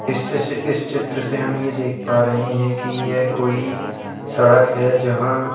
इस चिस इस चित्र से हम ये देख पा रहे हैं कि यह कोई सड़क है जहां --